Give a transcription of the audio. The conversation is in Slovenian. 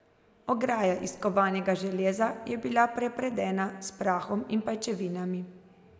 Ograja iz kovanega železa je bila prepredena s prahom in pajčevinami.